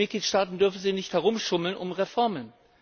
Und die Mitgliedstaaten dürfen sich nicht herumschummeln um Reformen.